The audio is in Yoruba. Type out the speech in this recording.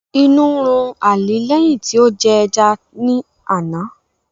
Inu run Ali lẹhin ti o jẹ ẹja ni ana.